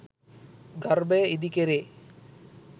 ගර්භය ඉදි කෙරේ.